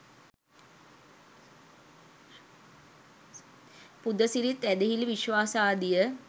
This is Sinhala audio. පුදසිරිත් ඇදහිලි විශ්වාසාදිය